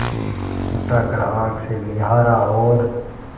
उठाकर आँख से निहारा और